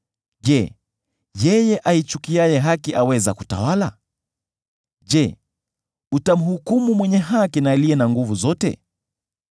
Je, yeye aichukiaye haki aweza kutawala? Je, utamhukumu mwenye haki, Aliye na Nguvu Zote?